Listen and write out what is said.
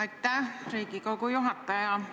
Aitäh, Riigikogu juhataja!